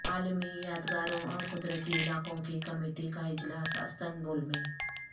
عالمی یادگاروں اورقدرتی علاقوں کی کمیٹی کا اجلاس استنبول میں